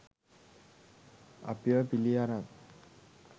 අපිව පිළි අරං